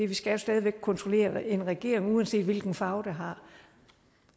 vi skal jo stadig væk kontrollere en regering uanset hvilken farve den har